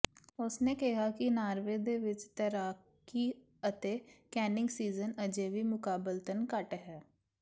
ਉਸਨੇ ਕਿਹਾ ਕਿ ਨਾਰਵੇ ਦੇ ਵਿੱਚ ਤੈਰਾਕੀ ਅਤੇ ਕੈਨਿੰਗ ਸੀਜ਼ਨ ਅਜੇ ਵੀ ਮੁਕਾਬਲਤਨ ਘੱਟ ਹੈ